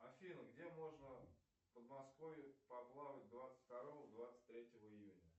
афина где можно в подмосковье поплавать двадцать второго двадцать третьего июня